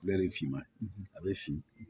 finma a bɛ fin